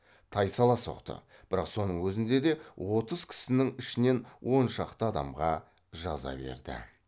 тайсала соқты бірақ соның өзінде де отыз кісінің ішінен он шақты адамға жаза берді